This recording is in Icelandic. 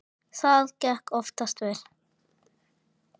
Það gekk oftast vel.